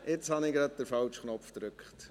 Jetzt habe ich den falschen Knopf gedrückt.